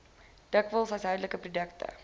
dikwels huishoudelike produkte